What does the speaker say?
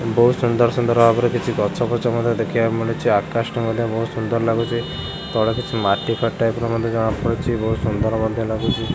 ବହୁତ ସୁନ୍ଦର ସୁନ୍ଦର ଭାବରେ କିଛି ଗଛ ପଛ ମଧ୍ଯ ଦେଖିବାକୁ ମିଳୁଚି ଆକାଶ ଟି ମଧ୍ୟ ବହୁତ ସୁନ୍ଦର ଲାଗୁଚି ତଳେ କିଛି ମାଟି ଫାଟି ଟାଇପ୍ ର ମତେ ଜଣା ପଡୁଚି ବହୁତ ସୁନ୍ଦର ମଧ୍ୟ ଲାଗୁଚି।